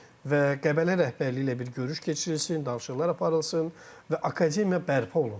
Və Qəbələ rəhbərliyi ilə bir görüş keçirilsin, danışıqlar aparılsın və akademiya bərpa olunsun.